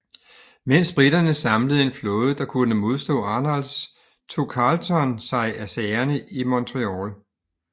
Mens briterne samlede en flåde der kunne modstå Arnolds tog Carleton sig af sagerne i Montreal